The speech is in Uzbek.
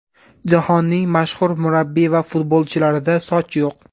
Jahonning mashhur murabbiy va futbolchilarida soch yo‘q.